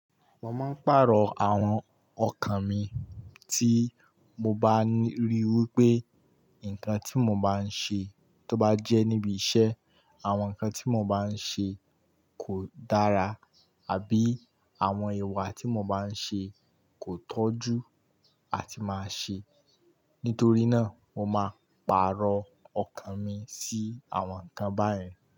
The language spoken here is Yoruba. Mo máa ń pàrọ̀ àwọn ọkàn mi tí mo bá ríi wí pé nǹkan tí mo bá ń ṣe tó bá jẹ́ níbi iṣẹ́, àwọn nǹkan tí mo bá ń ṣe kò dára àbí àwọn ìwà tí mo bá ń ṣe kò tọ́ jú àti máa ṣe. Nítorí náà, mo máa pàrọ̀ ọkàn mi sí àwọn nǹkan báyen.